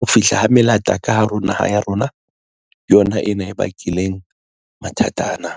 Ho fihla ha melata ka hare ho naha ya rona yona ena e bakileng mathata ana.